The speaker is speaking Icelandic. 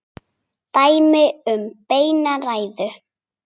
Dæmi um beina ræðu